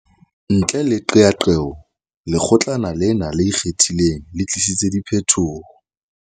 Ntle le qeaqeo, Lekgotlana lena le Ikgethileng le tlisitse diphetoho.